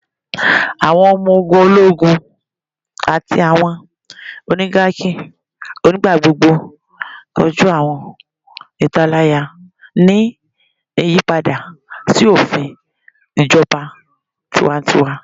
Awọn ọmọ ogun ologun ati awọn oligarchies nigbagbogbo koju awọn italaya ni iyipada si ofin ijọba tiwantiwa